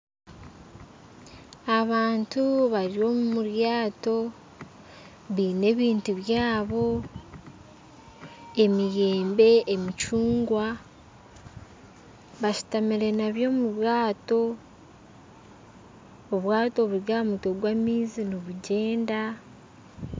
Abantu bari omu ryaato baine ebintu byabo emiyembe emicungwa bashutamire nabyo omubwato obwato buri ahamutwe gw'amaizi nibugyenda.